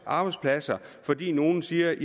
arbejdspladser fordi nogle siger